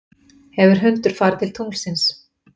hefur hundur farið til tunglsins